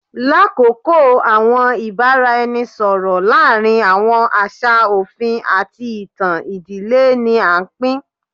Lakoko awọn ibaraẹnisọrọ laarin awọn aṣa ofin ati itan idile ni a pin